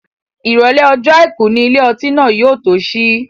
Ìrọ̀lẹ́ ọjọ́ àìkú ni ilé ọtí náà yóò tó sí.